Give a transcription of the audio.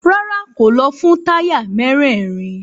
Rárá, kò lọ fún táyà mérèèrin.